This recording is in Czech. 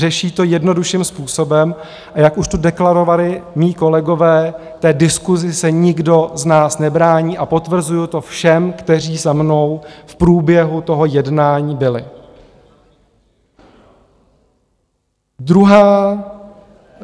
Řeší to jednodušším způsobem, a jak už tu deklarovali mí kolegové, té diskusi se nikdo z nás nebrání, a potvrzuji to všem, kteří za mnou v průběhu toho jednání byli.